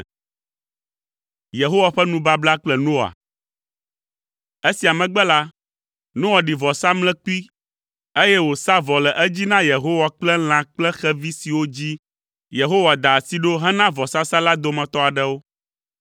Esia megbe la, Noa ɖi vɔsamlekpui, eye wòsa vɔ le edzi na Yehowa kple lã kple xevi siwo dzi Yehowa da asi ɖo hena vɔsasa la dometɔ aɖewo.